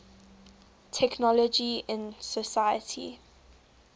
technology in society